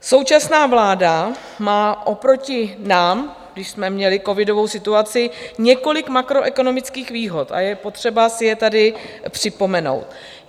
Současná vláda má oproti nám, když jsme měli covidovou situaci, několik makroekonomických výhod a je potřeba si je tady připomenout.